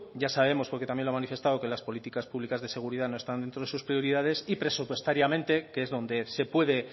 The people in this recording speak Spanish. ya sabemos porque también lo ha manifestado que las políticas públicas de seguridad no están dentro de sus prioridades y presupuestariamente que es donde se puede